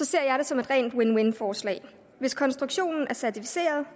ser jeg det som et win win forslag hvis konstruktionen er certificeret